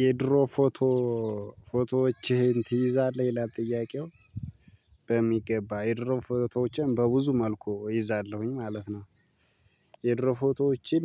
የድሮ ፎቶ ፎቶዎችህን ትይዛለህ ይላል ጥያቄው በሚገባ የድሮ ፎቶዎቼን በብዙ መልኩ ይዛለዉኝ ማለት ነው። የድሮ ፎቶዎችን